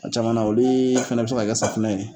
A caman na o dee fɛnɛ bɛ se ka kɛ safunɛ ye